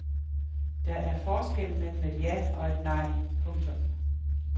Der er forskel mellem et ja og et nej. punktum